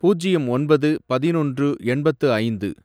பூஜ்யம் ஒன்பது, பதினொன்று, எண்பத்து ஐந்து